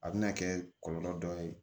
A bɛna kɛ kɔlɔlɔ dɔ ye